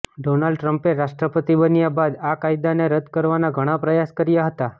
Donald ટ્રમ્પે રાષ્ટ્રપતિ બન્યા બાદ આ કાયદાને રદ્દ કરવાના ઘણા પ્રયાસ કર્યા હતા